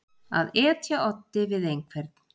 Að etja oddi við einhvern